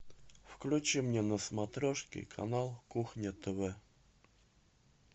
включи мне на смотрешке канал кухня тв